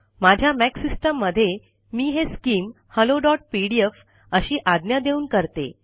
माझ्या Mac system मधे मी हे स्किम हॅलोपीडीएफ अशी आज्ञा देऊन करते